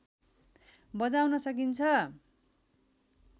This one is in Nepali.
बजाउन सकिन्छ